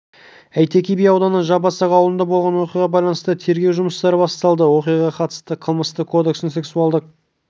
әйтеке би ауданы жабасақ ауылында болған оқиғаға байланысты тергеу жұмыстары басталды оқиғаға қатысты қылмыстық кодекстің сексуалдық